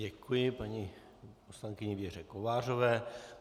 Děkuji paní poslankyni Věře Kovářové.